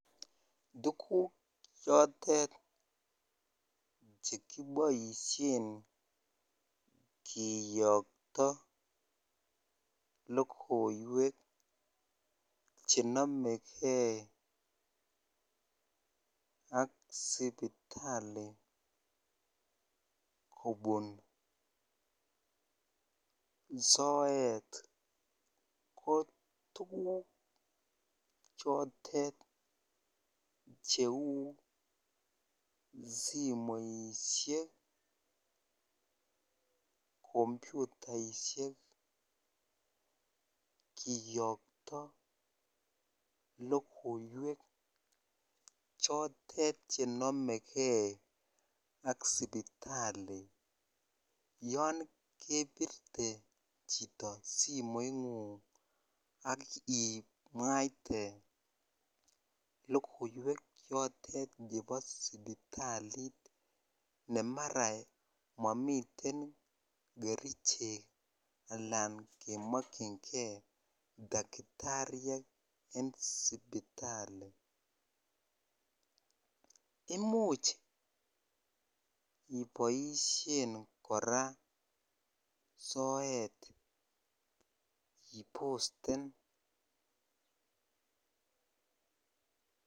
Tuguk chotet chekiboisien kiyokto logoiwek chenomegee ak sipitali kobun soet ko tuguk cheu simoisiek, kompyutaisiek kiyokto logoiwek chotet chenomegee ak sipitali yongebirte chito simoingung akimwaite logoiwek chotet chebo sipitalit nemara momiten kerichek anan kemokyingee daktariek en sipitali imuch iboisien kora soet iposten.